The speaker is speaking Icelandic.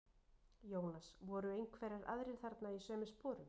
Jónas: Voru einhverjir aðrir þarna í sömu sporum?